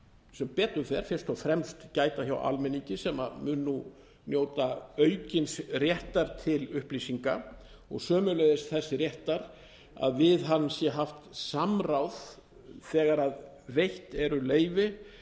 sem betur fyrst og fremst gæta hjá almenningi sem mun nú njóta aukinn réttar til upplýsinga og sömuleiðis þess réttar að við hann sé haft samráð þegar veitt eru leyfi